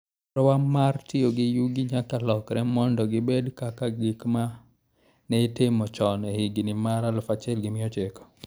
Chenrowa mar tiyo gi yugi nyaka lokre mondo gibed kaka gik ma ne itimo chon e higini mag 1900.